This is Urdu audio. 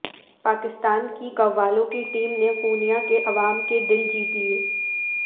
پاکستان کی قوالوں کی ٹیم نے قونیا کے عوام کے دل جیت لیے